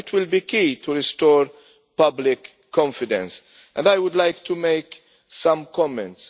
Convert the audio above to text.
It will be key in restoring public confidence and I would like to make some comments.